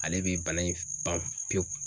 Ale bɛ bana in ban pepewu